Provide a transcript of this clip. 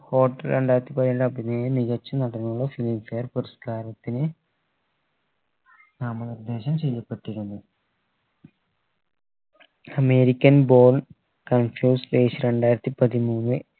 hotel രണ്ടായിരത്തി പതിനേഴ് മികച്ച നടനുള്ള filmfare പുരസ്‌കാരത്തിന് നാമനിർദ്ദേശം ചെയ്യപ്പെട്ടിരുന്നു american born consostrate രണ്ടായിരത്തി പതിമൂന്ന്